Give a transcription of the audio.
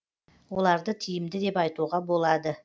оларды тиімді деп айтуға болады